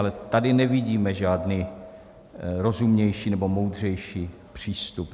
Ale tady nevidíme žádný rozumnější nebo moudřejší přístup.